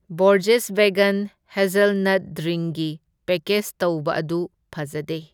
Borges vegan hazelnut ꯗ꯭ꯔꯤꯡꯒꯤ package ꯇꯧꯕ ꯑꯗꯨ ꯐꯖꯗꯦ꯫